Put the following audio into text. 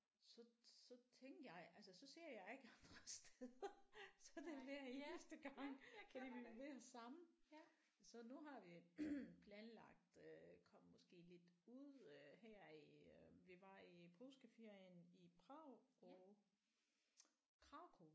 Så så tænkte jeg altså så ser jeg ikke andre steder så er det hver eneste gang at vi vil være sammen så nu har vi planlagt øh komme måske lidt ud øh her i øh vi var i påskeferien i Prag og Krakow